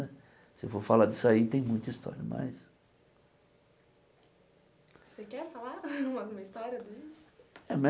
Se eu for falar disso aí, tem muita história, mas... Você quer falar alguma história disso? É